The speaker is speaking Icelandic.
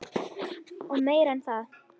Og meira en það.